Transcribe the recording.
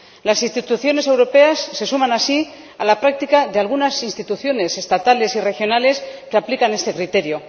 Las instituciones europeas se suman así a la práctica de algunas instituciones estatales y regionales que aplican este criterio.